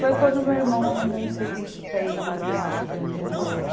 Foi quando o meu irmão arrumou um serviço para ele no Riacho Grande, num motel.